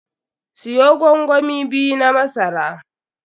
Siyo gwangwami biyu na masara.